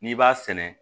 N'i b'a sɛnɛ